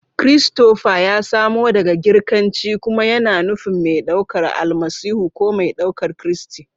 Christopher ya samo daga Girkanci kuma yana nufin "mai ɗaukar Almasihu" ko "mai ɗaukar Kristi."